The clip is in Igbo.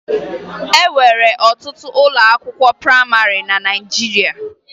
E nwere ọtụtụ ụlọakwụkwọ prayịmarị na Naịjirịa